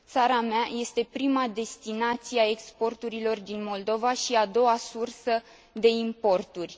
Țara mea este prima destinație a exporturilor din Moldova și a doua sursă de importuri.